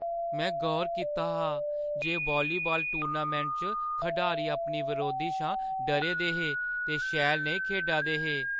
में गौर कीता हा जे वालीबाल टूर्नामैंटै च खडारी अपने बरोधी शा डरे दे हे ते शैल नेईं खेढा दे हे।